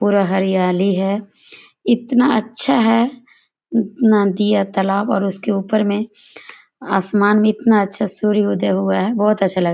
पूरा हरियाली है इतना अच्छा है नदी आ तालाब और उसके ऊपर में आसमान में इतना अच्छा सूर्य उदय हुआ है बहुत अच्छा लगरा।